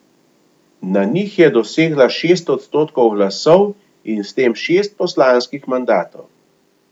Na njih je dosegla šest odstotkov glasov in s tem šest poslanskih mandatov.